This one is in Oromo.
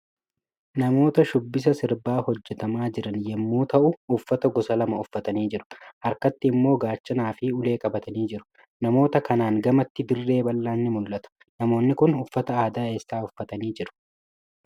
Namoota shubbisa sirbaa hojjetama jiran yommuu ta'u uffata gosa lama uffatanii jiru. Harkatti immoo gaachanaa fi ulee qabatanii jiru. Namoota kanaan gamatti dirree bal'aan ni mul'ata. Namoonni Kun uffata aadaa eessa uffatanii jiru?